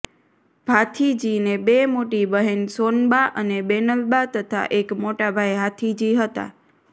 ભાથીજીને બે મોટી બહેન સોનબા અને બેનલબા તથા એક મોટાભાઈ હાથીજી હતાં